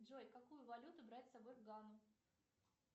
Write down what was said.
джой какую валюту брать с собой в гану